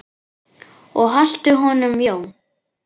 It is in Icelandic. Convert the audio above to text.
Og haltu honum Jón.